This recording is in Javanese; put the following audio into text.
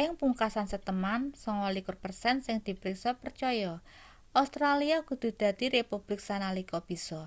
ing pungkasan seteman 29 persen sing dipriksa percaya australia kudu dadi republik sanalika bisa